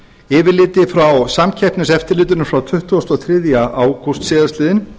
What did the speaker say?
yfirliti frá samkeppniseftirlitinu frá tuttugasta og þriðja ágúst síðastliðinn